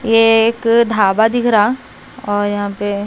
ये एक ढाबा दिख रहा और यहां पे--